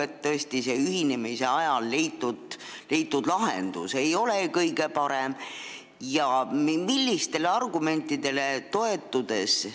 Ehk tõesti ühinemise ajal leitud lahendus ei ole kõige parem ja on teada ka argumendid, millele praegu toetutakse.